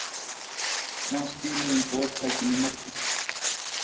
Menn skiluðu inn boðtækjum í morgun